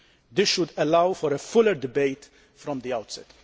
This should allow for a fuller debate from the outset.